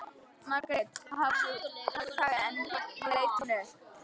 Margrét hafði þagað en nú leit hún upp.